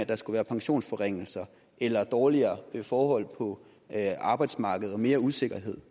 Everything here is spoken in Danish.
der skulle være pensionsforringelser eller dårligere forhold på arbejdsmarkedet og mere usikkerhed